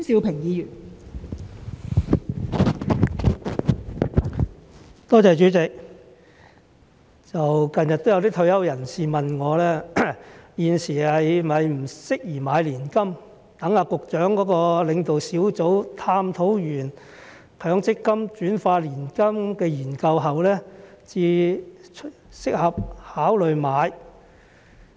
近日有些退休人士問我，現時是否不適宜買年金，待局長的領導小組探討完強積金轉化年金的研究後，才適合考慮買？